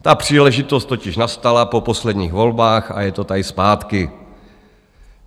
Ta příležitost totiž nastala po posledních volbách a je to tady zpátky.